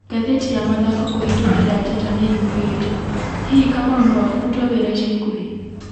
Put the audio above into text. Gathĩti ya mathako kuhĩtũkira Njata nĩ yugĩte, hihi Kamau no abutwe wĩra ica ikuhĩ?